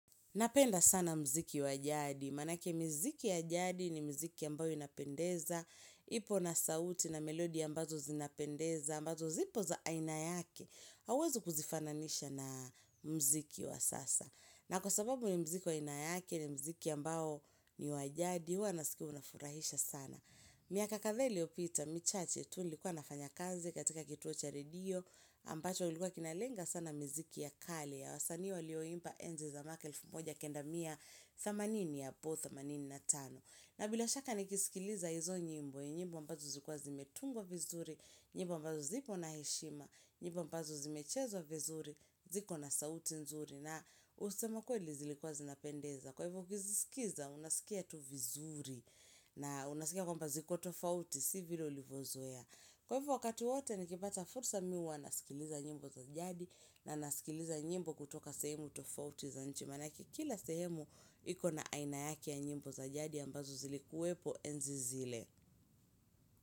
Napenda sana mziki wajadi, manake mziki yajadi ni mziki ambayo inapendeza, ipo na sauti na melodi ambazo zinapendeza, ambazo zipo za aina yake, hawezu kuzifananisha na mziki wa sasa. Na kwa sababu ni mziki wa inayake ni mziki ambao ni wajadi, hua nasikiu unafurahisha sana. Miaka kadhaa iliyopita, michache tu likuwa nafanya kazi katika kituo cha redio, ambacho ulikuwa kinalenga sana mziki ya kali ya wasanii lioimba enzi za makelfu moja kenda miya thamanini apo, thamanini na tano. Na bila shaka nikisikiliza hizo nyimbo ya nyimbo ambazo zikuwa zimetungwa vizuri, nyimbo ambazo zipo na heshima, nyimbo ambazo zimechezwa vizuri, ziko na sauti nzuri na usema kweli zilikuwa zinapendeza kwa hivo kiziskiza unaskia tu vizuri na unaskia kwamba ziko tofauti si vile ulivozoea kwa hivo wakati wate nikipata fursa miwa nasikiliza nyimbo za jadi na nasikiliza nyimbo kutoka sehemu tofauti za nchi maanake kikila sehemu ikona aina yake ya nyimbo za jadi ambazo zilikuwepo enzi zile.